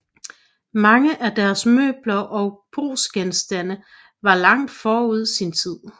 Mange af deres møbler og brugsgenstande var langt forud sin tid